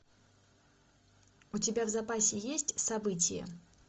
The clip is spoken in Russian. у тебя в запасе есть событие